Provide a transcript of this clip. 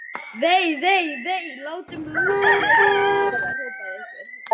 Vei, vei, vei. látum lúsablesana hafa það hrópaði einhver.